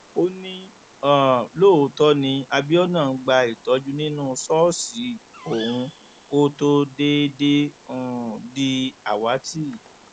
ó ní um lóòótọ ni abiona ń gba ìtọjú nínú ṣọọṣì òun kó tóó déédéé um di àwátì